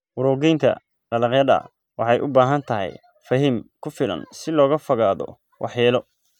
Urogeynta dalagyada waxay u baahan tahay fehim ku filan si looga fogaado waxyeello.